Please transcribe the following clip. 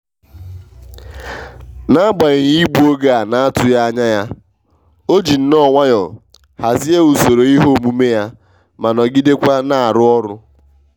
n'agbanyeghị igbu oge a n'atụghị anya ya o ji nno nwayọ hazie usoro ihe omume ya ma nọgidekwa n'arụ ọrụ.